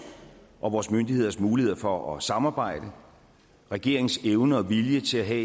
og vores myndigheders muligheder for at samarbejde og regeringens evne og vilje til at have